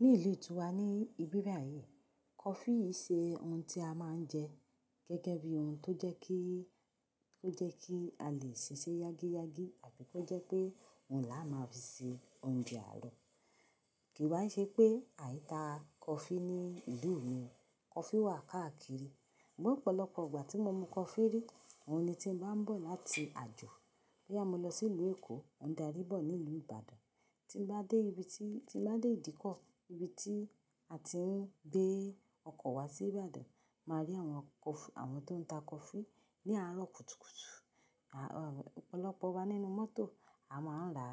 Ní ìlú ti wa ní ìbíbayìí, coffee i ṣe ohun tí a máa ń jẹ gẹ́gẹ́ bí ohun tó jẹ́ kí, tó jẹ́ kí a lè ṣiṣẹ́ yágíyágí àbi tó jẹ́ pé òun làá máa fi ṣe oúnjẹ àárọ̀. Kì wá ṣe pé àìta coffee ní ìlú mi, coffee wà káàkiri. Sugbon ọ̀pọ̀lọpọ̀ ìgbà tí mo mu coffee rí, òun ni tí m bá ń bọ̀ láti àjò. Boyà mo lọ sí ìlú Èkó, mo n darí bọ̀ nílú Ìbàdàn. Tí m bá dé ibi tí, tí m bá dé Ìdíkọ̀, ibi tí a ti ń gbé ọkọ̀ wá sí Ìbàdàn, màá rí àwọn coffee, àwọn tó ń ta coffee ní àárọ̀ kùtùkùtù. À, ọ̀pọ̀lọpọ̀ wa nínú mọ́tò. A máa ń rà,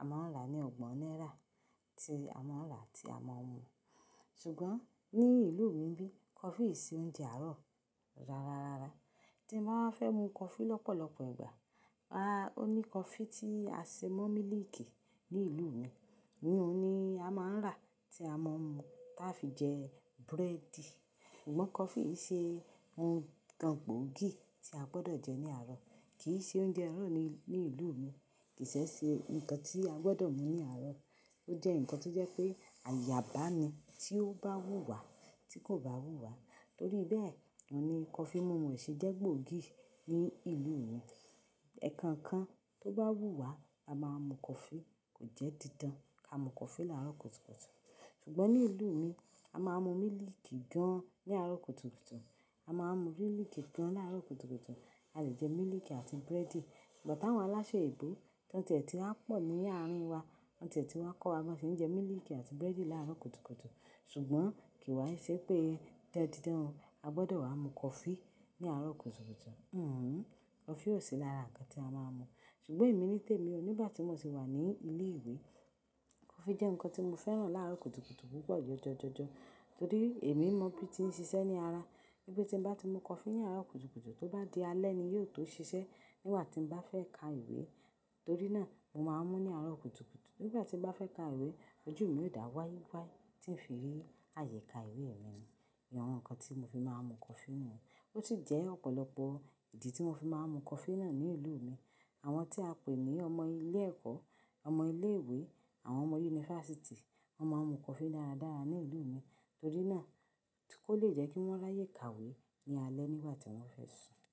a máa ń rà ní ọgbọ̀n náírà tí a máa ń rà tí a máa ń mu. Ṣùgbọ́n ní ìlú mi n bí, coffee i ṣe oúnjẹ àárọ̀ rara rara. Tí mbá wa fẹ́ mu coffee lọ́pọ̀lọpọ̀ ìgbà, aá, ó ní coffee tí a ṣe mo mílíìkì ní ìlú mi. Iyun ni a máa ń rà tí a máa ń mu táa fi jẹ búrẹ́dì. Sugbon coffee i ṣe ohun kan gbòógì tí a gbọdọ̀ jẹ ní àárọ̀. Kì í ṣe oúnjẹ àárọ̀ ní, ní ìlú mi. Kì í ṣe se nnkan tí a gbọdọ̀ mu ní àárọ̀. Ó jẹ́ ǹkan to jẹ́ pé àyà bá ni tí ó bá wù wá tí kò bá wù wá. Torí bẹ́ẹ̀, imu coffee múmu o ṣe jẹ́ gbòógì ní ìlú mi. Ẹ̀ẹ̀kan kan tó bá wù wá, a máa mu coffee kò jẹ́ didan. A mu coffee láàárọ̀ kùtùkùtù. Ṣùgbọ́n ní ìlú mi, a máa ń mu mílíìkì gan ní àárọ̀ kùtùkùtù. A máa ń mu mílíìkì gan láàárọ̀ kùtùkùtù. A lè jẹ mílíìkì àti búrẹ́dì. Ǹbọ̀ táwọn aláṣẹ ebò tón ti ẹ̀ tí wa pọ̀ ní àárín wa, wọ́n ti ẹ̀ tí wa kọ́ wa bọ ṣe ń jẹ mílíìkì àti búrẹ́dì láàárọ̀ kùtùkùtù. Ṣùgbọ́n kì í wá ṣe pé dandidan a gbọdọ̀ wá mu coffee ní àárọ̀ kùtùkùtù. Hìhù. Coffee ò sí lára ǹkan tí a máa ń mu. Ṣùgbọ́n èmi nítèmi o, nígbà tí mo sì wà ní ilé ìwé, coffee jẹ́ ǹkan tí mo fẹ́ràn láàárọ̀ kùtùkùtù púpọ̀ jọjọ jojo. Torí èmi mọ̀ bí i tí ń ṣiṣẹ́ ní ara. Ri pe tí mbá ti mu coffee ní àárọ̀ kùtùkùtù, tó bá di alẹ́ ni yóò tó ṣiṣẹ́ nígbà tí m bá fẹ́ ka ìwé. Torí náà, mo máa ń mú ní àárọ̀ kùtùkùtù. Nígbà tí mo bá fẹ́ ka ìwé, ojú mi ó dà wái wái tí ń fi rí àyẹ́ ka ìwé mi ni àwọn ǹkan tí mo fi máa ń mu coffee nù. Ó sì jẹ́ ọ̀pọ̀lọpọ̀ ìdí tí mo fi máa ń mu coffee náà ní ìlú mi. Àwọn tí a pè ní ọmọ ilé ẹ̀kọ́, ọmọ ilé ìwé, àwọn ọmọ yunifásítì, wọ́n máa ń mu coffee dáradára ní ìlú mi. Torí náà, ti kò le jẹ́ kí wọ́n ráyè kawé ní alẹ́ nígbà tí wọ́n fẹ́ sùn.